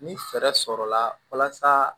Ni fɛɛrɛ sɔrɔla walasa